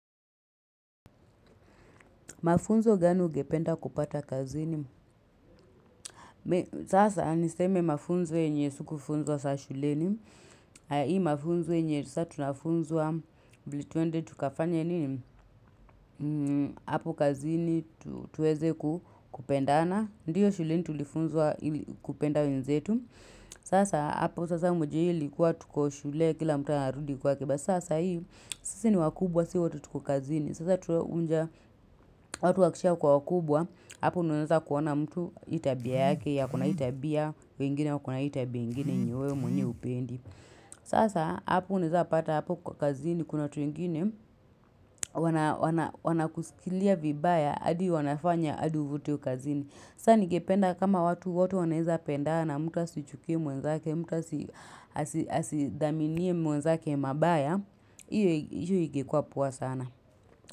Mafunzo gani ungependa kupata kazini? Sasa niseme mafunzo enye sikufunzwa saa shuleni. Hii mafunzo enye, satunafunzwa ili twende tukafanye nini? Apo kazini tuweze kupendana. Ndiyo shuleni tulifunzwa kupenda wenzetu. Sasa, hapo sasa umejua hiyo ilikuwa tuko shule kila mtu anarudi kwake basi. Sa saa hii, sisi ni wakubwa, si wote tuko kazini. Sasa tuwe unja, watu wakisha kuwa wakubwa. Hapo ndio unaeza kuona mtu hii tabia yake ako na hii tabia wengine wakona hii tabia ingine enye we mwenyewe hupendi. Sasa hapo unaeza pata hapo kwa kazini kuna watu wengine wanakusikilia vibaya adi wanafanya hadi uvutwe kazini. Sasa ningependa kama watu wote wanaeza pendana mtu asichukie mwenzake mtu asidhaminie mwenzake mabaya, hiyo ingekuwa poa sana.